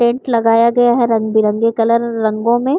tent लगाया गया है रंगबिरंगे कलरो रंगों में --